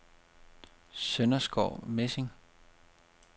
Sønderskov Mesing